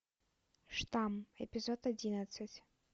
штамм эпизод одиннадцать